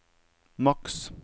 maks